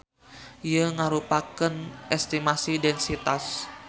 Ieu ngarupakeun gambaran estimasi densitas.